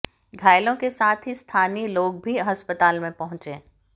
घायलों के साथ ही स्थानीय लोग भी अस्पताल में पहुंचे